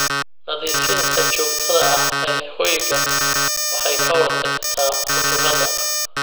Nadiifinta joogtada ah ee hoyga waxay ka hortagtaa cudurrada.